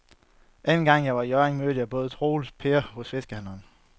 Anden gang jeg var i Hjørring, mødte jeg både Troels og Per hos fiskehandlerne.